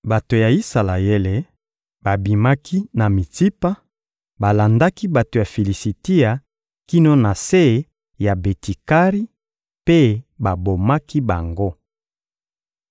Bato ya Isalaele babimaki na Mitsipa, balandaki bato ya Filisitia kino na se ya Beti-Kari mpe babomaki bango.